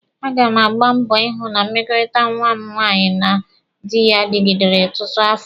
A ga m agba mbọ ịhụ na mmekọrịta nwa m nwaanyị na dị ya dịgidere ọtụtụ afọ.